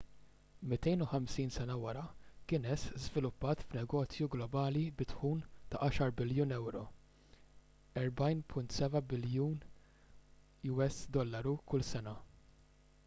250 sena wara guinness żviluppat f'negozju globali bi dħul ta' 10 biljun euro us$14.7 biljun kull sena